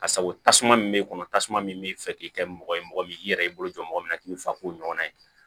Ka sago tasuma min bɛ kɔnɔ tasuma min bɛ fɛ k'i kɛ mɔgɔ ye mɔgɔ min i yɛrɛ y'i bolo jɔ mɔgɔ min kan k'i fa ko ɲɔgɔnna ye